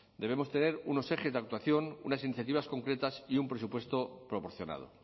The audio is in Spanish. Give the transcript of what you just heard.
debemos tener unos ejes de actuación unas iniciativas concretas y un presupuesto proporcionado